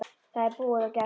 Það er búið og gert.